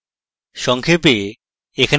সংক্ষেপে: